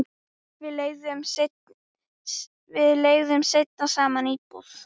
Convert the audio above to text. Við leigðum seinna saman íbúð.